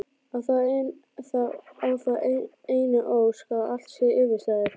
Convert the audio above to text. Á þá einu ósk að allt sé yfirstaðið.